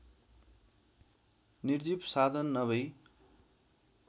निर्जीव साधन नभई